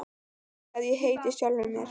Því hef ég heitið sjálfum mér.